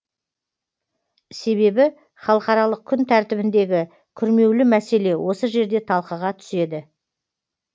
себебі халықаралық күн тәртібіндегі күрмеулі мәселе осы жерде талқыға түседі